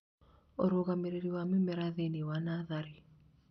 Ũrũgamĩrĩri wa mĩmera thĩiniĩ wa natharĩ